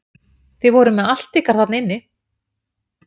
Þið voruð með allt ykkar þarna inni?